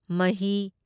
ꯃꯍꯤ